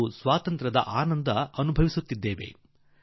ನಾವು ಸ್ವಾತಂತ್ರ್ಯದ ಆನಂದವನ್ನೇನೋ ಆನುಭವಿಸುತ್ತಿದೇವೆ